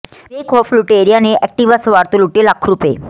ਬੇਖੌਫ ਲੁਟੇਰਿਆਂ ਨੇ ਐਕਟਿਵਾ ਸਵਾਰ ਤੋਂ ਲੁੱਟੇ ਲੱਖਾਂ ਰੁਪਏ